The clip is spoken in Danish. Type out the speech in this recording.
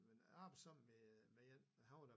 Men arbejdede sammen med en han var da